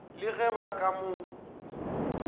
le ge ba ka mo